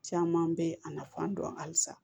Caman bɛ a nafan dɔn halisa